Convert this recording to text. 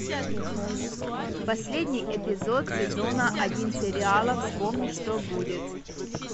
последний эпизод сезона один сериала вспомни что будет